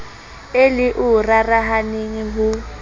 e le o rarahaneng ho